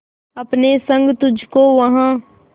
अपने संग तुझको वहां